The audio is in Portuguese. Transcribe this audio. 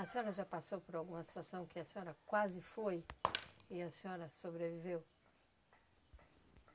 A senhora já passou por alguma situação que a senhora quase foi e a senhora sobreviveu?